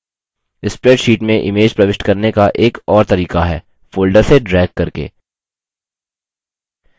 spreadsheet में images प्रविष्ट करने का एक और तरीका है folder से ड्रैग करके